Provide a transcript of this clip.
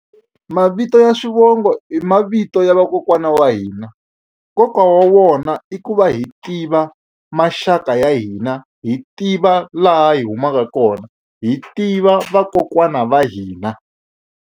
Mavito ya swivongo i mavito ya vakokwana wa hina nkoka wa wona i ku va hi tiva maxaka ya hina hi tiva laha hi humaka kona hi tiva vakokwana va hina.